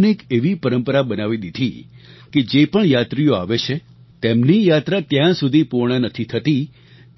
અને એક એવી પરંપરા બનાવી દીધી કે જે પણ યાત્રીઓ આવે છે તેમની યાત્રા ત્યાં સુધી પૂર્ણ નથી થતી